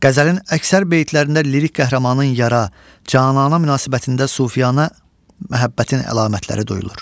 Qəzəlin əksər beytlərində lirik qəhrəmanın yara, canana münasibətində sufiyanə məhəbbətin əlamətləri duyulur.